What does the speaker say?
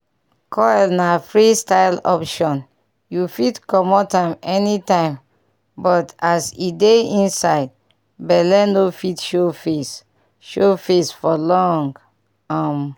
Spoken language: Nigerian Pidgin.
coil na free-style option you fit comot am anytime but as e dey inside belle no fit show face show face for long um.